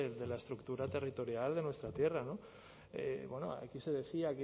de la estructura territorial de nuestra tierra no bueno aquí se decía